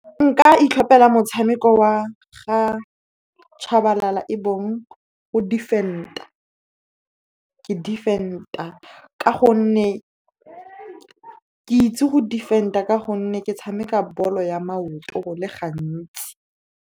Nka itlhopela motshameko wa ga Tshabalala, e bong ke defend-a. Ke itse go defend-a ka gonne ke tshameka bolo ya maoto go le gantsi.